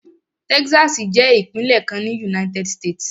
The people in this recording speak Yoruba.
Texas jẹ́ ìpínlẹ̀ kan ní United States.